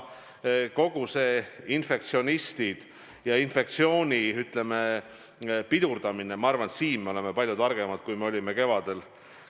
Kogu see infektsiooni pidurdamine – ma arvan, et praegu me oleme palju targemad, kui me olime kevadel.